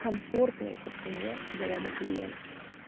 комфортные по цене для ряда клиентов